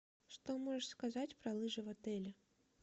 что можешь сказать про лыжи в отеле